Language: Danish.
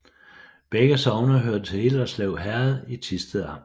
Begge sogne hørte til Hillerslev Herred i Thisted Amt